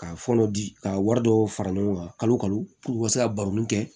Ka fɔlɔ di ka wari dɔw fara ɲɔgɔn kan kalo kalo u ka se ka baroni kɛ